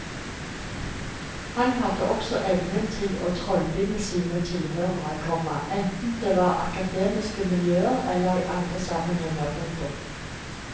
Han hadde også evnen til å trollbinde sine tilhørere, komma enten det var i akademiske miljøer eller i andre sammenhenger. punktum